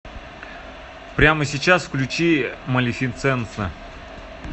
прямо сейчас включи малефисента